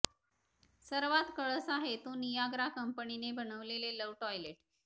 सर्वात कळस आहे तो नियाग्रा कंपनीने बनविलेले लव्ह टॉयलेट